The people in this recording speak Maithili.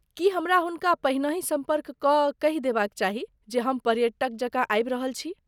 की हमरा हुनका पहिनहि सम्पर्क कऽ कहि देबाक चाही जे हम पर्यटक जकाँ आबि रहल छी?